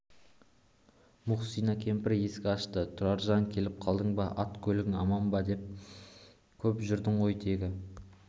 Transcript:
мұхсина кемпір есік ашты тұраржан келіп қалдың ба ат-көлігің аман ба көп жүрдің ғой тегі